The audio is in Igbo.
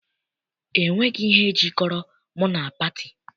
E nweghị ihe jikọrọ mụ na pati.